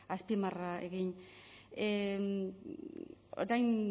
azpimarra egin orain